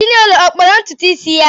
Chinelo ọ kpara ntutu isi ya?